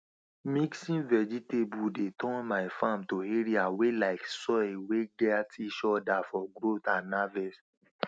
mixing vegetable dey turn my farm to area wey like soil wey gat each other for growth and harvest